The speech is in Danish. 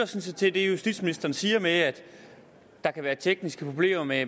set til det justitsministeren siger om at der kan være tekniske problemer med